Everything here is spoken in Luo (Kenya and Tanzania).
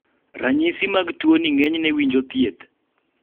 ranyisi mag tuo ni ng'enyne winjo thieth